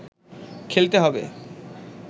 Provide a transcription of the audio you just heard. খেলতে হবে